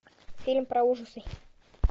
фильм про ужасы